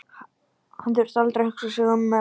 Hann þurfti aldrei að hugsa sig um ef